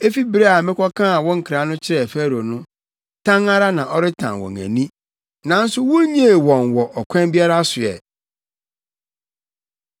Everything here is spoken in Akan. Efi bere a mekɔkaa wo nkra no kyerɛɛ Farao no, tan ara na ɔretan wɔn ani, nanso wunnyee wɔn wɔ ɔkwan biara so ɛ.”